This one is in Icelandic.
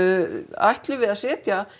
ætlum við að setja